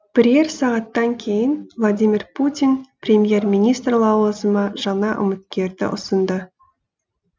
бірер сағаттан кейін владимир путин премьер министр лауазымы жаңа үміткерді ұсынды